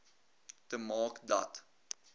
te maak dat